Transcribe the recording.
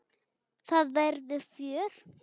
Það verður fjör.